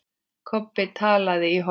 Kobbi talaði í hornið.